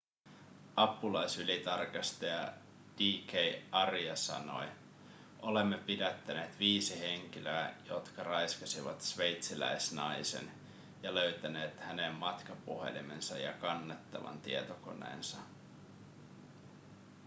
apulaisylitarkastaja d.k. arya sanoi olemme pidättäneet viisi henkilöä jotka raiskasivat sveitsiläisnaisen ja löytäneet hänen matkapuhelimensa ja kannettavan tietokoneensa